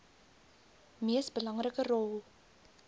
mees belangrike rol